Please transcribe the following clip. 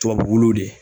Tubabuw de